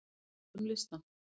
Skoðum listann!